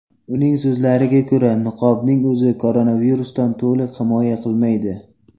Uning so‘zlariga ko‘ra, niqobning o‘zi koronavirusdan to‘liq himoya qilmaydi.